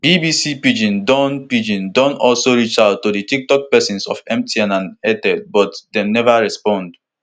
bbc pidgin don pidgin don also reach out to di toktok pesins of mtn and airtel but dem neva respond